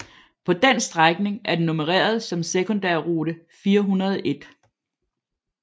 På den strækning er den nummereret som sekundærrute 401